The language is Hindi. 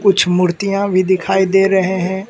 कुछ मूर्तियां भी दिखाई दे रहे हैं।